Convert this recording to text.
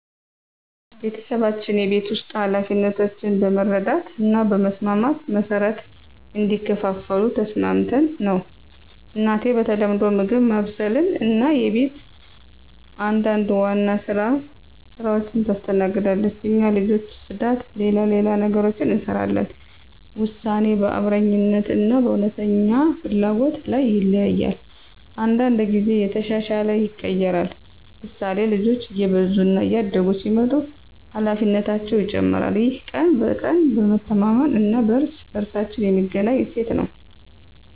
ቤተሰባችን የቤት ውስጥ ኃላፊነቶችን በመረዳት እና በመስማማት መሠረት እንዲከፋፈሉ ተስማምተን ነው። እናቴ በተለምዶ ምግብ ማብሰልን እና የቤት አንዳንድ ዋና ሥራዎችን ታስተናግዳለች። እኛ ልጆች ጽዳት፣ ሌላ ሌላ ነገሮችን እንሰራለን ውሳኔ በአብረኛነት እና በእውነተኛ ፍላጎት ላይ ይተያያል። አንዳንድ ጊዜ እየተሻሻለ ይቀየራል፤ ምሳሌ፣ ልጆች እየበዙ እና እያደጉ ሲመጡ ኃላፊነታቸው ይጨመራል። ይህ ቀን በቀን በመተማመን እና በእርስ በእርሳችን የሚገኝ እሴት ነው።